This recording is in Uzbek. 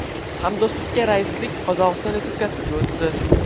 Hamdo‘stlikka raislik Qozog‘iston Respublikasiga o‘tdi.